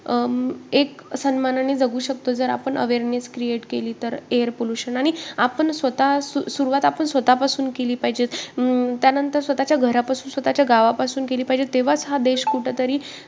अं एक सन्मानाने जगू शकतो जर आपण awareness create केली तर, air pollution आणि आपण स्वतः सुरवात आपण स्वतःपासून केली पाहिजे. अं त्यानंतर स्वतःच्या घरापासून, स्वतःच्या गावापासून केली पाहिजे तेव्हाच हा देश कुठंतरी